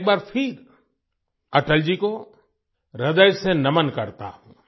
मैं एक बार फिर अटल जी को हृदय से नमन करता हूँ